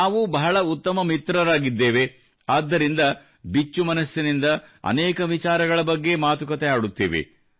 ನಾನು ಬಹಳ ಉತ್ತಮ ಮಿತ್ರರಾಗಿದ್ದೇವೆ ಆದ್ದರಿಂದ ಬಿಚ್ಚುಮನಸ್ಸಿನಿಂದ ಅನೇಕ ವಿಚಾರಗಳ ಬಗ್ಗೆ ಮಾತುಕತೆ ಆಡುತ್ತೇವೆ